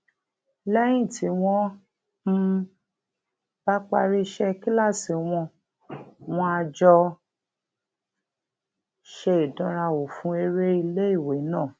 léyìn tí wón um bá parí iṣé kíláàsì wọn wón á jọ ṣe ìdánrawò fún eré iléiwé náà